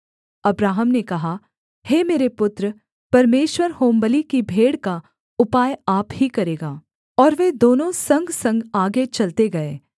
Abraham ने कहा हे मेरे पुत्र परमेश्वर होमबलि की भेड़ का उपाय आप ही करेगा और वे दोनों संगसंग आगे चलते गए